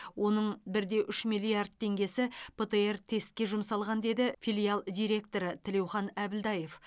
оның бір де үш миллиард теңгесі птр тестке жұмсалған деді филиал директоры тілеухан әбілдаев